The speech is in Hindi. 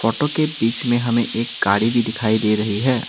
ऑटो के बीच में हमें एक गाड़ी भी दिखाई दे रही है।